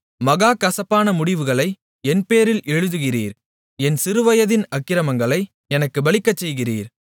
மகா கசப்பான முடிவுகளை என்பேரில் எழுதுகிறீர் என் சிறுவயதின் அக்கிரமங்களை எனக்குப் பலிக்கச்செய்கிறீர்